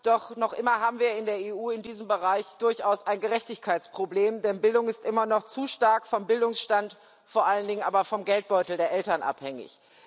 Doch noch immer haben wir in der Europäischen Union in diesem Bereich durchaus ein Gerechtigkeitsproblem, denn Bildung ist immer noch zu stark vom Bildungsstand, vor allen Dingen aber vom Geldbeutel der Eltern abhängig.